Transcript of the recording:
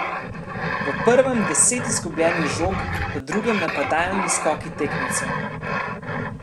V prvem deset izgubljenih žog, v drugem napadalni skoki tekmecev.